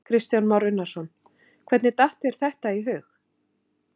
Kristján Már Unnarsson: Hvernig datt þér þetta í hug?